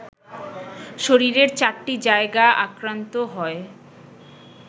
শরীরের ৪টি জায়গা আক্রান্ত হয়